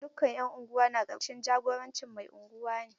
Dukkan 'yan unguwa na ƙarƙashin jagorancin mai Unguwa ne.